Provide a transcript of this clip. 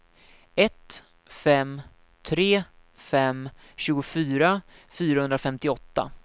ett fem tre fem tjugofyra fyrahundrafemtioåtta